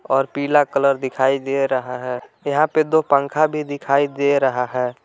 और पीला कलर दिखाई दे रहा है यहां पे दो पंखा भी दिखाई दे रहा है।